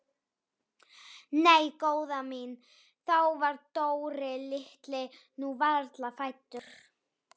Nei góða mín, þá var Dóri litli nú varla fæddur.